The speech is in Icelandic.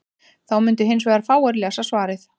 þá mundu hins vegar fáir lesa svarið